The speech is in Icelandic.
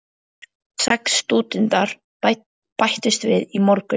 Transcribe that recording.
Sex stúdentar bættust við í morgun.